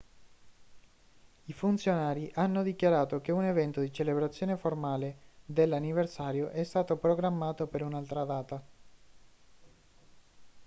i funzionari hanno dichiarato che un evento di celebrazione formale dell'anniversario è stato programmato per un'altra data